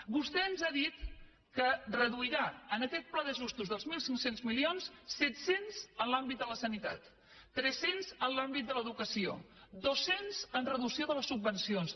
vostè ens ha dit que reduirà en aquest pla d’ajustos dels mil cinc cents milions set cents en l’àmbit de la sanitat tres cents en l’àmbit de l’educació dos cents en reducció de les subvencions